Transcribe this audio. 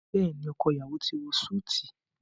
Béèni ọkọ iyawo ti wọ Súìti.